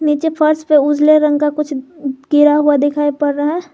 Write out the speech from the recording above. नीचे फर्श पे उजले रंग का कुछ गिरा हुआ दिखाई पड़ रहा है।